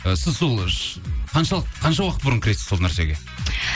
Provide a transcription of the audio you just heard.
і сіз сол қанша уақыт бұрын кіресіз сол нәрсеге